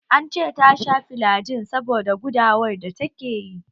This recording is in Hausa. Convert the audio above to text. An ce tasha filagil saboda gudawar da ta ke yi